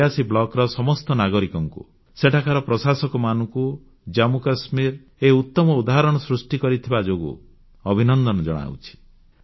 ମୁଁ ରିୟାସୀ ବ୍ଲକର ସମସ୍ତ ନାଗରିକଙ୍କୁ ସେଠାକାର ପ୍ରଶାସକମାନଙ୍କୁ ଜାମ୍ମୁକାଶ୍ମୀର ଏହି ଉତମ ଉଦାହରଣ ପ୍ରସ୍ତୁତ କରିଥିବା ଯୋଗୁଁ ଅଭିନନ୍ଦନ ଜଣାଉଛି